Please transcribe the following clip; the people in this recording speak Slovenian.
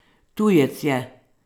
Tujec je.